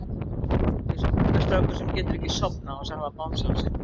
Eins og mömmustrákur sem getur ekki sofnað án þess að hafa bangsann sinn.